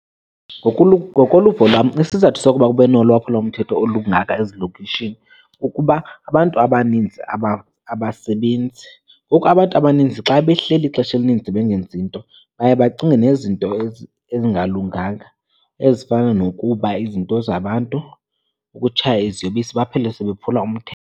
Ngokoluvo lwam, isizathu sokuba kube nolwaphulomthetho olungaka ezilokishini kukuba abantu abaninzi abasebenzi. Ngoku abantu abaninzi xa behleli ixesha elininzi bengenzi nto baye bacinge nezinto ezingalunganga, ezifana nokuba izinto zabantu, ukutshaya iziyobisi, baphele sebephula .